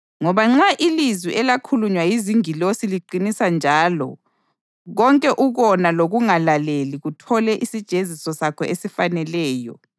Ngoba nxa ilizwi elakhulunywa yizingilosi liqinisa njalo konke ukona lokungalaleli kuthole isijeziso sakho esifaneleyo,